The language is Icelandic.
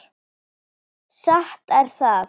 Satt er það.